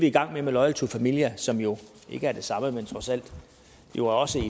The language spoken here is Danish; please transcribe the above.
i gang med med loyal to familia som jo ikke er det samme men trods alt jo også